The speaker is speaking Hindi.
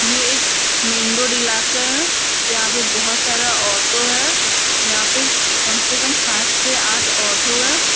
ये एक मैंन रोड ईलाका है जहाँ पे बहुत सारा ऑटो हैं यहां पे कम - से - कम सात से आठ ऑटो हैं।